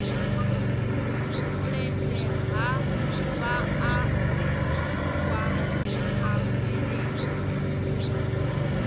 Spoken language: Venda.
mulenzhe ha vhaaluwa kha mvelele